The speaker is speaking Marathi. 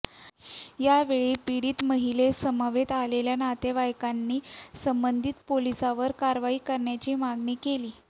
यावेळी पिडीत महिलेसमवेत आलेल्या नातेवाईकांनी संबधित पोलिसावर कारवाई करण्याची मागणी केली